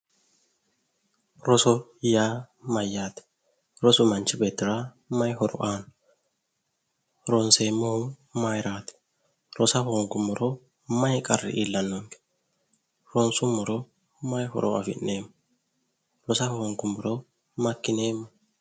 Roso ya mayyaate? rosu manchi beetira ma horo aanno? ronseemmohu maayiiraati? rosa hoongiro maayi qarri iillanno? ronsummoro maayi horo afi'neemmo? rosa hoongummoro makkineemmo?